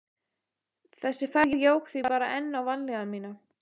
Þessi ferð jók því bara enn á vanlíðan mína.